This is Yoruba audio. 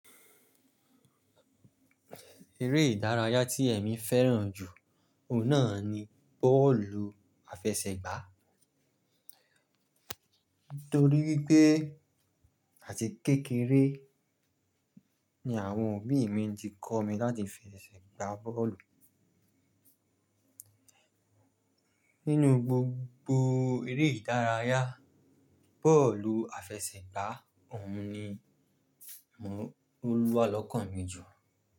Eré ìdárayá tí èmi fẹ́ràn jù, òun náà ni bọ́ọ̀lù àfẹsẹ̀gbá. Nítorí wípé àti kékeré ni àwọn òbí mi ti kọ́ mi láti fi ẹsẹ̀ gbá bọ́ọ̀lù. Nínú gbogbo eré ìdárayá, bọ́ọ̀lù àfẹsẹ̀gbá òun ni, mo n, olúwa lọkàn mi jù.